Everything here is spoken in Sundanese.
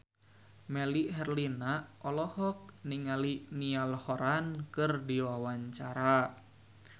Melly Herlina olohok ningali Niall Horran keur diwawancara